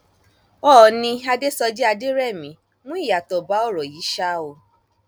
oòní adéṣọjì adẹrẹmí mú ìyàtọ bá ọrọ yìí ṣáá o